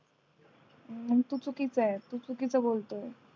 हम्म तू चुकिचंय तू चुकीचं बोलतोय